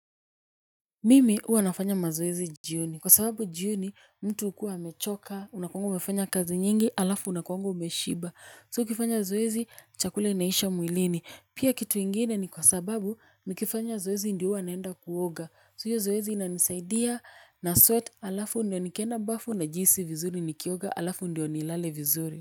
Mimi huwa nafanya mazoezi jioni kwa sababu jioni mtu hukua amechoka unakuanga umefanya kazi nyingi alafu unakuanga umeshiba so ukifanya zoezi chakula inaisha mwilini pia kitu ingine ni kwa sababu ni kifanya zoezi ndio huwa naenda kuoga so hiyo zoezi inanisaidia. Na sweat alafu ndio nikenda bafu najihisi vizuri nikioga alafu ndio nilale vizuri.